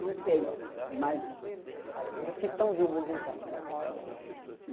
Não sei, mas... Dos que estão vivos, então, na ordem, assim.